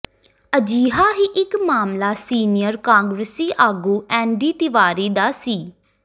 ਅਜਿਹਾ ਹੀ ਇਕ ਮਾਮਲਾ ਸੀਨੀਅਰ ਕਾਂਗਰਸੀ ਆਗੂ ਐੱਨਡੀ ਤਿਵਾੜੀ ਦਾ ਸੀ